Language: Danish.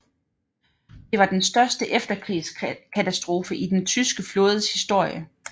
Det var den største efterkrigskatastrofe i den tyske flådes historie